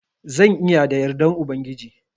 Zan iya da yardan Ubangiji.